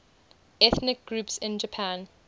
ethnic groups in japan